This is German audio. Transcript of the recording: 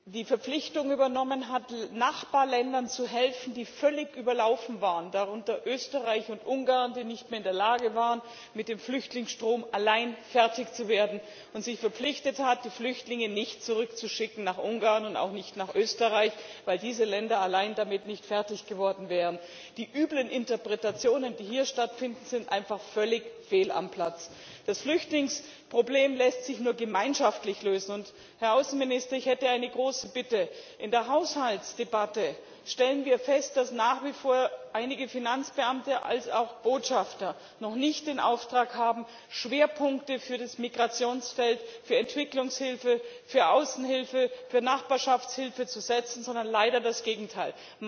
Frau Präsidentin, liebe Kolleginnen und Kollegen! Als Erstes möchte ich feststellen, dass Deutschland die Verpflichtung übernommen hat, Nachbarländern zu helfen, die völlig überlaufen waren darunter Österreich und Ungarn, die nicht mehr in der Lage waren, mit dem Flüchtlingsstrom allein fertig zu werden und sich verpflichtet hat, die Flüchtlinge nicht zurückzuschicken nach Ungarn und auch nicht nach Österreich, weil diese Länder allein damit nicht fertig geworden wären. Die üblen Interpretationen, die hier stattfinden, sind einfach völlig fehl am Platz. Das Flüchtlingsproblem lässt sich nur gemeinschaftlich lösen. Herr Außenminister, ich hätte eine große Bitte In der Haushaltsdebatte stellen wir fest, dass nach wie vor einige Finanzbeamte wie auch Botschafter noch nicht den Auftrag haben, Schwerpunkte für das Migrationsfeld, für Entwicklungshilfe, für Außenhilfe, für Nachbarschaftshilfe zu setzen, sondern leider das Gegenteil.